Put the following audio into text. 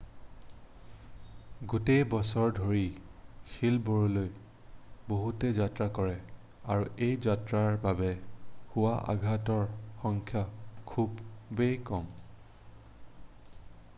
গোটেই বছৰ ধৰি শিলবোৰলৈ বহুতে যাত্ৰা কৰে আৰু এই যাত্ৰাৰ বাবে হোৱা আঘাতৰ সংখ্যা খুব কম